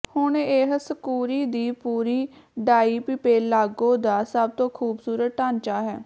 ਹੁਣ ਇਹ ਸਕੂਰੀ ਦੀ ਪੂਰੀ ਡਾਈਪਿਪੇਲਾਗੋ ਦਾ ਸਭ ਤੋਂ ਖੂਬਸੂਰਤ ਢਾਂਚਾ ਹੈ